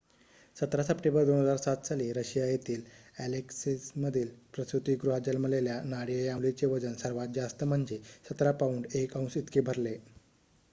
१७ सप्टेंबर २००७ साली रशिया येथील अॅलेक्समधील प्रसूतिगृहात जन्मलेल्या नाडिया या मुलीचे वजन सर्वात जास्त म्हणजे १७ पाउंड १ औंस इतके भरले